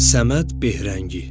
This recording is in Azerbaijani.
Səməd Behrəngi.